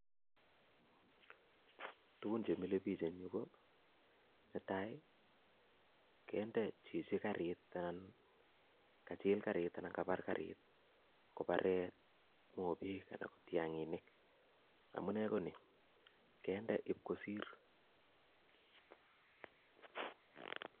Tugun chemile biik eng Yu ko nee tai kende chichi karit ak kachil karit anan kabar karit kobare mobek Ak tiang'nik amuu nee konii kende ib kosir